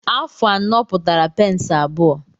Afụ anọ pụtara peensị abụọ.